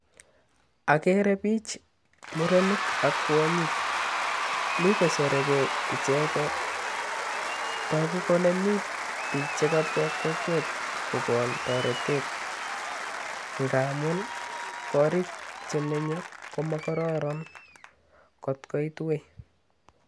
Agere bich, murenik ak kwonyik. Mi kosere gey ichege. Togu kole mi bich chekabwa kokwet kogonu toretet ngamun korik chemenye ko mo kororon kotkoit woi.